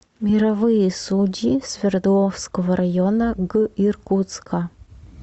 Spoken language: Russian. мировые судьи свердловского района г иркутска